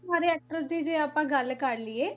ਸਾਰੇ actor ਦੀ ਜੇ ਆਪਾਂ ਗੱਲ ਕਰ ਲਈਏ